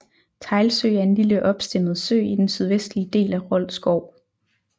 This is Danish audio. Teglsø er en lille opstemmet sø i den sydvestlige del af Rold Skov